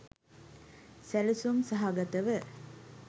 සැළසුම් සහගතව